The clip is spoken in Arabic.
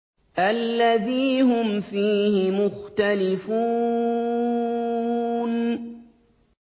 الَّذِي هُمْ فِيهِ مُخْتَلِفُونَ